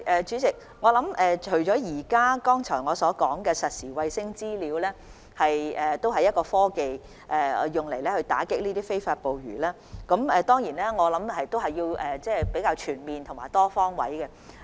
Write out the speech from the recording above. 主席，我剛才提及的實時衞星資料是用來打擊非法捕魚的其中一種科技，我們還需要較全面的多方位措施。